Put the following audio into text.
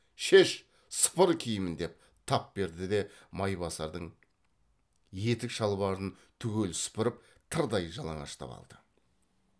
шеш сыпыр киімін деп тап берді де майбасардын етік шалбарын түгел сыпырып тырдай жалаңаштап алды